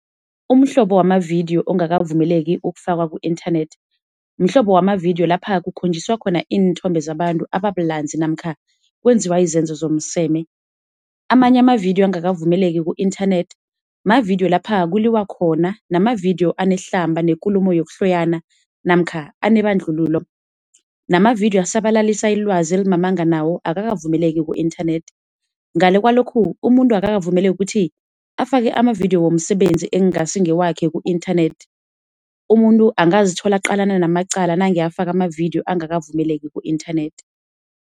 Umhlobo wamavidiyo ongakavumeleki ukufakwa ku-internet, mhlobo wamavidiyo lapha kukhonjiswa khona iinthombe zabantu ababulanzi namkha kwenziwa izenzo zomseme. Amanye amavidiyo angakavumeleki ku-internet, mavidiyo lapha kuliwa khona namavidiyo anehlamba nekulumo yokuhloyana namkha anebandlululo. Namavidiyo asabalalisa ilwazi elimamanga nawo akakavumeleki ku-internet. Ngale kwalokhu, umuntu akakavumeleki ukuthi afake amavidiyo womsebenzi ekungasi ngewakhe ku-internet. Umuntu ungazithola aqalana namaqala angakavumeleki ku-internet.